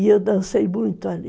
E eu dancei muito ali.